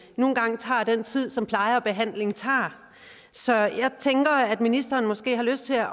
nu engang tager den tid som pleje og behandling tager så jeg tænker at ministeren måske har lyst til at